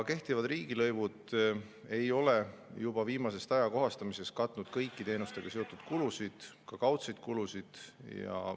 Kehtivad riigilõivud ei ole juba viimasest ajakohastamisest katnud kõiki teenustega seotud kulusid, ka mitte kaudseid kulusid.